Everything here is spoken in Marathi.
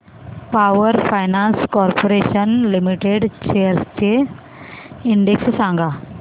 power finance corporation limited shares चा इंडेक्स सांगा